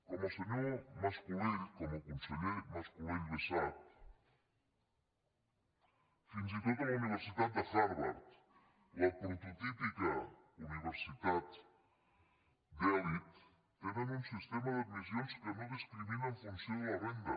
com el conseller mas colell bé sap fins i tot a la universitat de harvard la prototípica universitat d’elit tenen un sistema d’admissions que no discrimina en funció de la renda